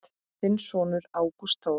Þinn sonur, Ágúst Þór.